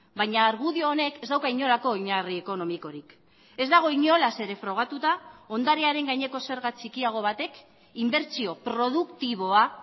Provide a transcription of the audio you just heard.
baina argudio honek ez dauka inolako oinarri ekonomikorik ez dago inolaz ere frogatuta ondarearen gaineko zerga txikiago batek inbertsio produktiboa